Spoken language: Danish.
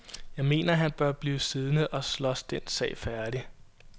Jeg mener han bør blive siddende og slås den sag færdig.